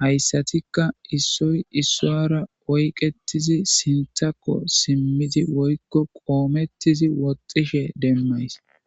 hayssatikka issoy issoyara oyqetizi sintakko simmiti woykko qoomettizi woxxishe demmays.